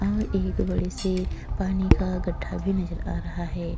और एक बड़ी सी पानी का गड्ढा भी नजर आ रहा है।